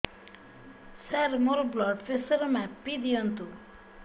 ସାର ମୋର blood pressure ମାପି ଦିଅନ୍ତୁ